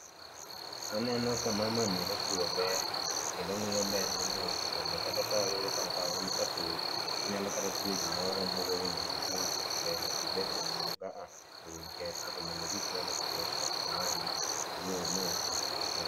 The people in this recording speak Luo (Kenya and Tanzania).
aneno ka mama ni opuro bel kendo ong'iyo bendni mondo kata ka oneno ka nigi kasoro to onyalo kata twe gimoro mabuogo winy mondo kik winy keth bel nikech bel ka osechopo ka to winy ketho to mondo orit bel otuo kasto ong'adi to odhi omoo to oswagi